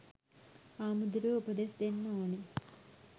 හාමුදුරුවො උපදෙස් දෙන්න ඕනෙ